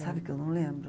Sabe que eu não lembro.